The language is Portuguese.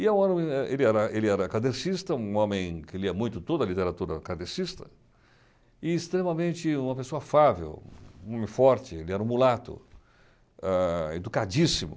E eu ele era ele era kardecista, um homem que lia muito, toda a literatura era kardecista, e extremamente uma pessoa fável, um homem forte, ele era um mulato, ah educadíssimo.